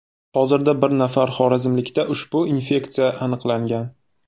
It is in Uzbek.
Hozirda bir nafar xorazmlikda ushbu infeksiya tasdiqlangan.